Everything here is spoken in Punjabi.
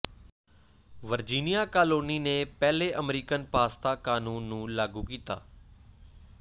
ਵਰਜੀਨੀਆ ਕਾਲੋਨੀ ਨੇ ਪਹਿਲੇ ਅਮਰੀਕਨ ਪਾਸਤਾ ਕਾਨੂੰਨ ਨੂੰ ਲਾਗੂ ਕੀਤਾ